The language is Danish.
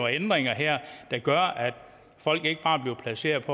ændringer her der gør at folk ikke bare bliver placeret